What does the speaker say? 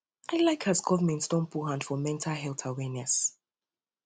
um i like um as government don put hand for mental health awareness